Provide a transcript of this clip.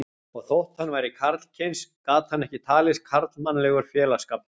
Og þótt hann væri karlkyns gat hann ekki talist karlmannlegur félagsskapur.